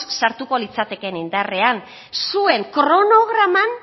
sartuko litzatekeen indarrean zuen kronograman